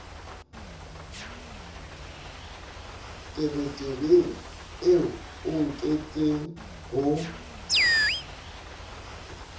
tebetebeng eo o nkentseng ho